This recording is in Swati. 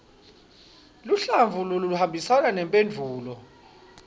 luhlavu loluhambisana nemphendvulo